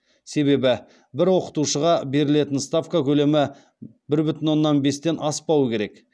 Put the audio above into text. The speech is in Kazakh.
себебі бір оқытушыға берілетін ставка көлемі бір бүтін оннан бестен аспауы керек